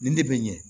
Nin ne bɛ ɲɛ